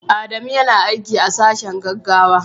Adamu yana aiki a sashen gaggawa.